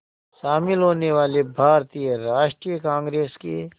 शामिल होने वाले भारतीय राष्ट्रीय कांग्रेस के